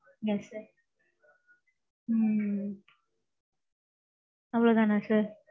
yes sir. Hmm. அவ்வளவு தானா sir?